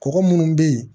Kɔgɔ munnu be yen